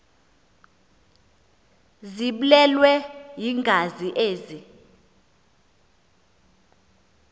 ziblelwe yingazi ezi